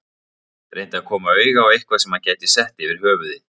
Reyndi að koma auga á eitthvað sem hann gæti sett yfir höfuðið.